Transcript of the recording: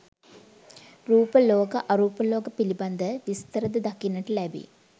රූප ලෝක, අරූප ලෝක, පිළිබඳ විස්තර ද දක්නට ලැබේ.